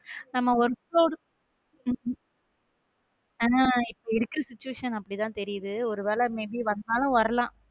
நம்ம work ஆனா இப்ப இருக்க situation அப்படி தான் தெரியுது ஒரு வேளை may be வந்தாலும் வரலாம்.